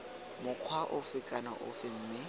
mokgwa ofe kana ofe mme